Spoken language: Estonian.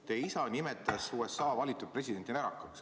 Teie isa nimetas USA valitud presidenti närakaks.